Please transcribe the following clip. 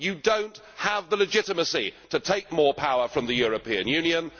You do not have the legitimacy to take more power for the European Union.